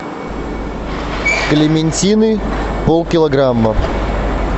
клементины полкилограмма